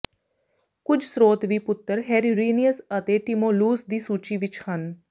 ਕੁਝ ਸ੍ਰੋਤ ਵੀ ਪੁੱਤਰ ਹੇਰਰੀਨਨੀਅਸ ਅਤੇ ਟਿਮੋਲਉਸ ਦੀ ਸੂਚੀ ਵਿਚ ਹਨ